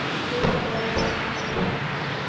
le bagwera ba gagwe ba